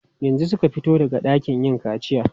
Yanzu suka fito daga ɗakin yin kaciya.